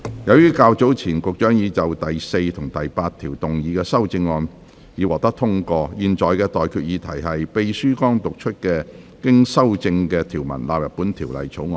由於較早前運輸及房屋局局長就第4及8條動議的修正案已獲得通過，我現在向各位提出的待決議題是：秘書剛讀出經修正的條文納入本條例草案。